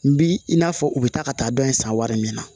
N bi i n'a fɔ u be taa ka taa dɔn in san wari min na